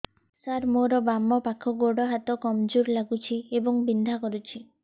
ସାର ମୋର ବାମ ପାଖ ଗୋଡ ହାତ କମଜୁର ଲାଗୁଛି ଏବଂ ବିନ୍ଧା କରୁଛି